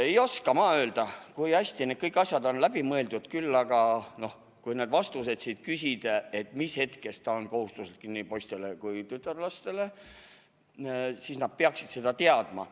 Ei oska ma öelda, kui hästi need kõik asjad on läbi mõeldud, küll aga, kui küsida, mis hetkest ta on kohustuslik nii poistele kui tütarlastele, siis nad peaksid seda vastust teadma.